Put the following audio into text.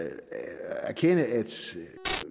erkende at